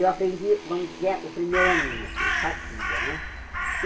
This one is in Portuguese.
Eu aprendi, vamos dizer, o primeiro aninho, assim, cartilha, né?